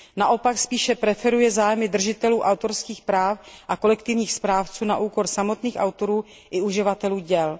Naopak spíše preferuje zájmy držitelů autorských práv a kolektivních správců na úkor samotných autorů i uživatelů děl.